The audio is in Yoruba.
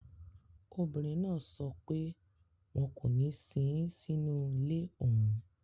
Obìnrin náà sọ pé wọn kò ní sin ín sínú ilé òun